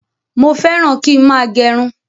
Mo féràn kín máa gerun